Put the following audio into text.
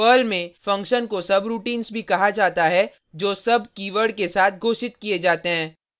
Perl में function को subroutines भी कहा जाता है जो sub keyword के साथ घोषित किये जाते हैं